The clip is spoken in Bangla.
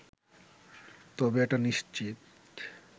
তবে এটা নিশ্চিত